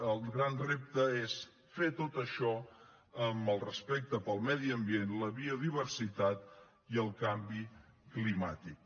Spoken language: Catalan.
el gran repte és fer tot això amb el respecte pel medi ambient la biodiversitat i el canvi climàtic